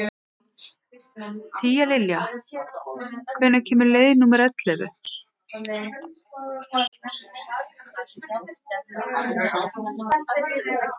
Tíalilja, hvenær kemur leið númer ellefu?